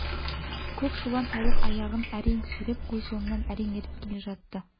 көк шулан саулық аяғын әрең сүйретіп қой соңынан әрең еріп келе жатты